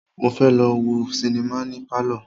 Mo fẹ́ lọ wo sinimá ní Pálọ̀.